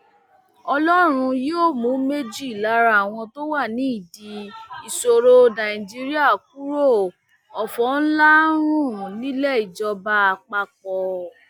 ọlọrun yóò mú méjì lára àwọn tó wà nídìí ìṣòro nàìjíríà kúrò ọfọ ńlá ń rùn nílẹ ìjọba àpapọ